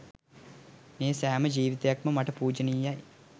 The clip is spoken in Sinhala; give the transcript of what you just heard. මේ සෑම ජීවිතයක්ම මට පූජනීයයි